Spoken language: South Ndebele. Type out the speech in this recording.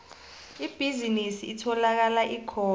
ibhizinisi itholakala khona